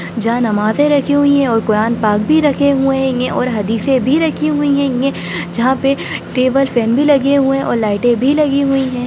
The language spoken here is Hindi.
जहाँ नमाज़ें रखी हुई हैं और कुरान पाक भी रखे हुए हैंगे और हदीसें भी रखी हुई हैंगे जहाँ पे टेबल फैन भी लगे हुए हैं और लाइटें भी लगी हुई हैं।